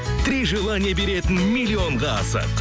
три желания беретін миллионға асық